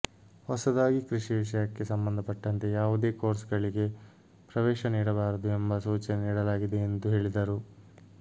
ಹೊಸದಾಗಿ ಕೃಷಿ ವಿಷಯಕ್ಕೆ ಸಂಬಂಧಪಟ್ಟಂತೆ ಯಾವುದೇ ಕೋರ್ಸ್ಗಳಿಗೆ ಪ್ರವೇಶ ನೀಡಬಾರದು ಎಂಬ ಸೂಚನೆ ನೀಡಲಾಗಿದೆ ಎಂದು ಹೇಳಿದರು